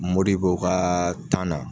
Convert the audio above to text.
Modibo kaa na